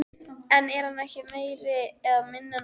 En er hann meiri eða minni en áður?